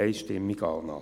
Einstimmige Annahme.